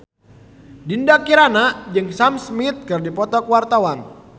Dinda Kirana jeung Sam Smith keur dipoto ku wartawan